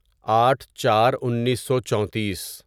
آٹھ چار انیسو چونتیس